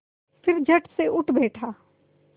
फिर झटसे उठ बैठा